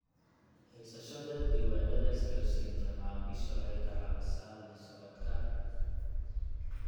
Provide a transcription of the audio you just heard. Haysashada diiwaannada isgaarsiinta macaamiisha waxay ka caawisaa la socodka.